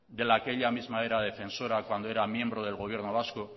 de la que ella misma era defensora cuando era miembro del gobierno vasco